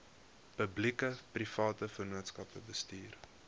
publiekeprivate vennootskappe bestuur